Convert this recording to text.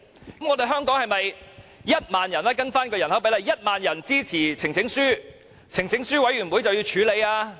如果按人口比例計算，香港是否只需1萬人支持呈請書，呈請書委員會便要處理？